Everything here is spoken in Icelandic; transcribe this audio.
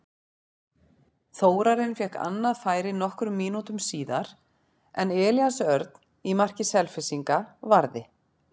Þórarinn fékk annað færi nokkrum mínútum síðar en Elías Örn í marki Selfyssinga varði.